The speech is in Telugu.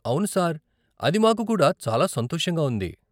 అవును సార్, అది మాకు కూడా చాలా సంతోషంగా ఉంది.